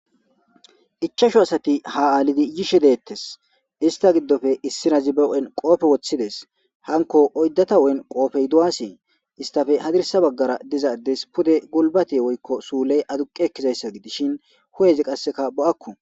Ichashu asati ha aalidi yishe deettes. Ista giddoppe issi nayzi ba huphphen qoobe woththi des. Hanko oyddata woykko qoobay lo'esi. Istappe hadirisa baggara diza addes pude gulbate woykko suule aduqe ekiza issa gidishin heezzu qassika bo'akko.